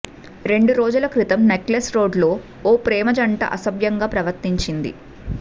రెండు రోజుల క్రితం నెక్లెస్ రోడ్ లో ఓ ప్రేమ జంట అసభ్యంగా ప్రవర్తించింది